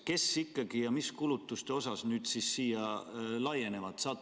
Kellele ikkagi ja mis kulutuste osas see regulatsioon laieneb?